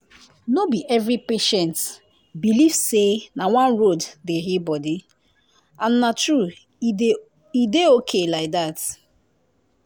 no be every patient believe say na one road dey heal body — and na true e dey okay like dat